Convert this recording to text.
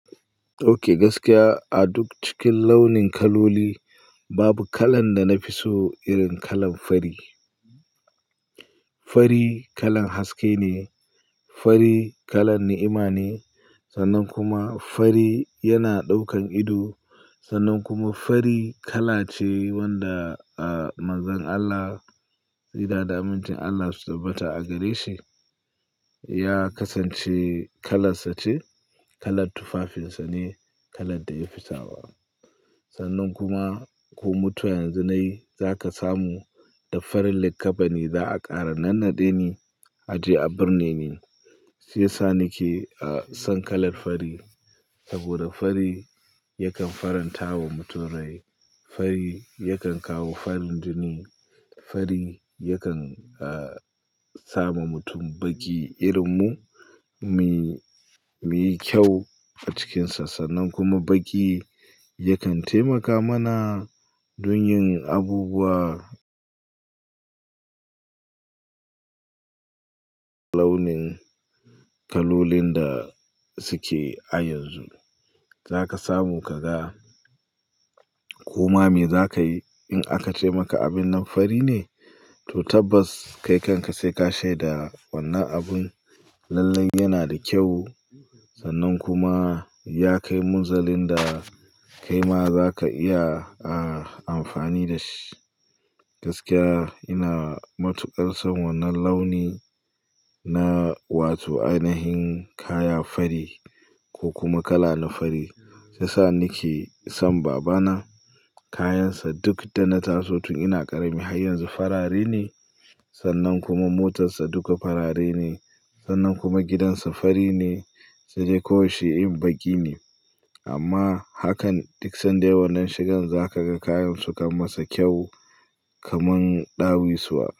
Ok gaskiya a duk cikin launin kaloli babu kalan da na fi so irin kalan fari. Fari kalan haske ne, fari kalan ni'ima ne sannan kuma fari yana ɗaukan ido sannan kuma fari kala ce wanda a mazan Allah tsira da damuncin Allah su tabbata a gare shi ya kasance kalassa ce, kalat tufafinsa ne, kalad da ya fi sawa. Sannan kuma ko mutuwa yanzu nai za ka samu da farin likkafani za'a ƙara nannaɗe ni a je a birne ni shiyasa ni ke a son kalar fari saboda fari yakan faranta wa mutum rai, fari yakan kawo farin jini, fari yakan a sama mutum baƙi irin mu, muyi muyi kyau a cikin sa sannan kuma baƙi yakan taimaka mana dun yin abubuwa launin kalolin da suke a yanzu. Za ka samu ka ga koma me za kai in aka ce maka abin nan fari ne? To tabbas kai kan ka sai ka shaida wannan abun lallai yana da kyau sannan kuma ya kai munzalin da kai ma za ka iya a amfani da shi. Gaskiya ina matuƙar son wannan launi na wato ainihin kaya fari ko kuma kala na fari shiyasa ni ke son babana kayan sa duk da na taso tun ina ƙarami har yanzu farare ne sannan kuma motar sa duka farare ne sannan kuma gidansa fari ne sai dai kawai shi in baƙi ne amma hakan duk san da yai wannan shigan za ka ga kayan su kan masa kyau kaman ɗawisuwa.